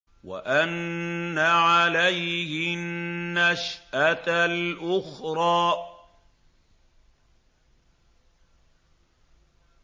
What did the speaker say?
وَأَنَّ عَلَيْهِ النَّشْأَةَ الْأُخْرَىٰ